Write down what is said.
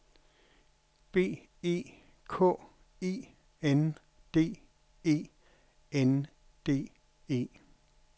B E K E N D E N D E